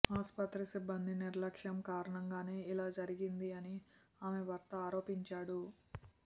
ఆస్పత్రి సిబ్బంది నిర్లక్ష్యం కారణంగానే ఇలా జరిగింది అని ఆమె భర్త ఆరోపించాడు